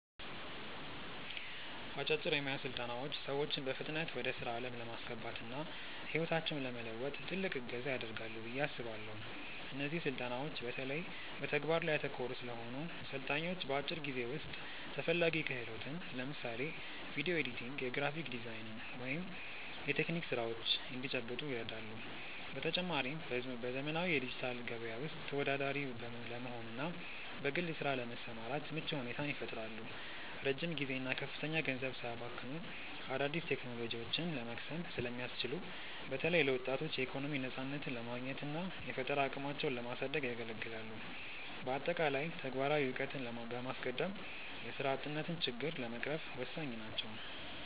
አጫጭር የሞያ ስልጠናዎች ሰዎችን በፍጥነት ወደ ስራ ዓለም ለማስገባትና ህይወታቸውን ለመለወጥ ትልቅ እገዛ ያደርጋሉ ብዬ አስባለው። እነዚህ ስልጠናዎች በተለይ በተግባር ላይ ያተኮሩ ስለሆኑ፣ ሰልጣኞች በአጭር ጊዜ ውስጥ ተፈላጊ ክህሎትን (ለምሳሌ ቪዲዮ ኤዲቲንግ፣ የግራፊክ ዲዛይን ወይም የቴክኒክ ስራዎች) እንዲጨብጡ ይረዳሉ። በተጨማሪም፣ በዘመናዊው የዲጂታል ገበያ ውስጥ ተወዳዳሪ ለመሆንና በግል ስራ ለመሰማራት ምቹ ሁኔታን ይፈጥራሉ። ረጅም ጊዜና ከፍተኛ ገንዘብ ሳያባክኑ አዳዲስ ቴክኖሎጂዎችን ለመቅሰም ስለሚያስችሉ፣ በተለይ ለወጣቶች የኢኮኖሚ ነፃነትን ለማግኘትና የፈጠራ አቅማቸውን ለማሳደግ ያገለግላሉ። በአጠቃላይ፣ ተግባራዊ እውቀትን በማስቀደም የስራ አጥነትን ችግር ለመቅረፍ ወሳኝ ናቸው።